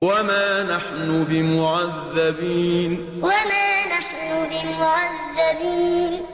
وَمَا نَحْنُ بِمُعَذَّبِينَ وَمَا نَحْنُ بِمُعَذَّبِينَ